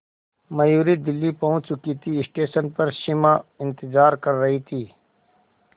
मयूरी दिल्ली पहुंच चुकी थी स्टेशन पर सिमा इंतेज़ार कर रही थी